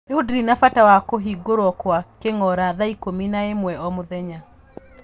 Rĩu ndirĩ na bata wa kũhingũrwo kwa kingora thaa ikũmi na ĩmwe o mũthenya